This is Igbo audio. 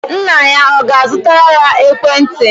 Nna ya ọ ga-azụtara ya ekwentị?